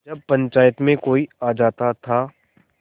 जब पंचायत में कोई आ जाता था